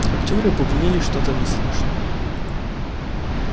актёры бубнили что-то неслышно